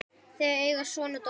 Þau eiga son og dóttur.